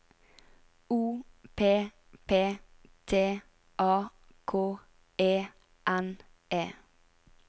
O P P T A K E N E